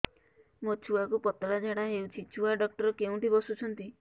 ମୋ ଛୁଆକୁ ପତଳା ଝାଡ଼ା ହେଉଛି ଛୁଆ ଡକ୍ଟର କେଉଁଠି ବସୁଛନ୍ତି